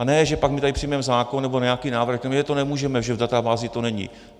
A ne že pak my tady přijmeme zákon nebo nějaký návrh - za to nemůžeme, že v databázi to není.